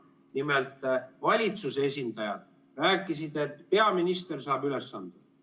Nimelt, valitsuse esindajad rääkisid, et peaminister saab ülesanded.